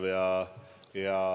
Ma loodan väga, et meil läheb hästi.